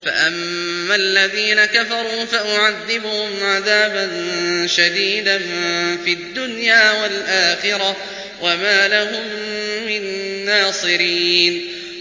فَأَمَّا الَّذِينَ كَفَرُوا فَأُعَذِّبُهُمْ عَذَابًا شَدِيدًا فِي الدُّنْيَا وَالْآخِرَةِ وَمَا لَهُم مِّن نَّاصِرِينَ